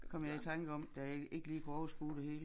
Det kom jeg i tanke om da jeg ikke lige kunne overskue det hele